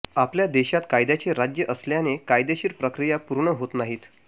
आपल्या देशात कायद्याचे राज्य असल्याने कायदेशीर प्रक्रिया पूर्ण होत नाहीत